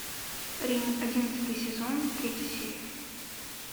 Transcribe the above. рим одиннадцатый сезон третья серия